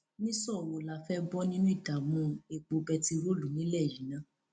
nìṣó wo la fẹẹ bọ nínú ìdààmú epo bẹntiróòlù nílẹ yìí ná